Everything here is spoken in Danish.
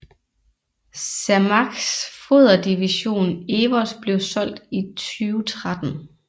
Cermaqs foderdivision EWOS blev solgt i 2013